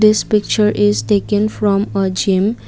this picture is taken from a gym.